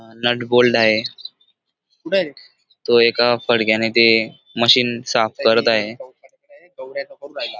Nut bolt आहे तो एका फडक्याने ते मशीन साफ करत आहे.